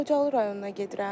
Xocalı rayonuna gedirəm.